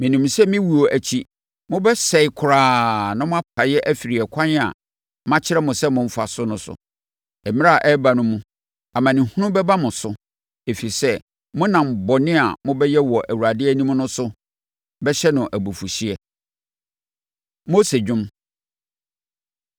Menim sɛ me wuo akyi, mobɛsɛe koraa na moapae afiri ɛkwan a makyerɛ mo sɛ momfa so no so. Mmerɛ a ɛreba no mu, amanehunu bɛba mo so, ɛfiri sɛ, monam bɔne a mobɛyɛ wɔ Awurade anim no so bɛhyɛ no abufuhyeɛ.” Mose Dwom